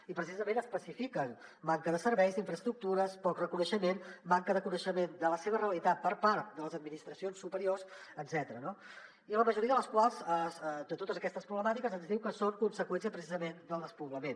i precisament especifiquen manca de serveis d’infraestructures poc reconeixement manca de coneixement de la seva realitat per part de les administracions superiors etcètera no i la majoria de les quals de totes aquestes problemàtiques ens diu que són conseqüència precisament del despoblament